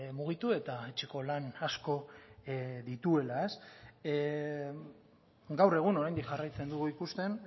mugitu eta etxeko lan asko dituela gaur egun oraindik jarraitzen dugu ikusten